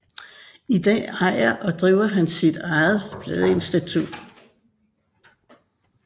I dag ejer og driver han sit ejet pladestudie